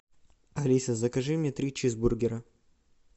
алиса закажи мне три чизбургера